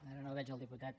ara no veig el diputat